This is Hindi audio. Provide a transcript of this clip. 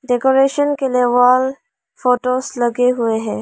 डेकोरेशन के लिए वॉल फोटोस लगे हुए हैं।